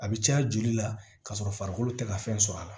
A bɛ caya joli la ka sɔrɔ farikolo tɛ ka fɛn sɔrɔ a la